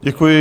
Děkuji.